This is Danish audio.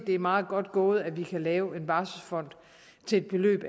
er meget godt gået at vi kan lave en barselsfond til et beløb